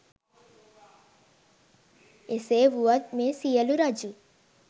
එසේ වුවත් මේ සියලු රජුන්